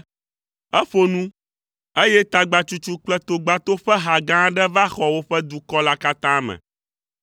Eƒo nu, eye tagbatsutsu kple togbato ƒe ha gã aɖe va xɔ woƒe dukɔ la katã me.